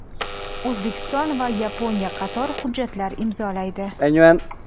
O‘zbekiston va Yaponiya qator hujjatlar imzolaydi.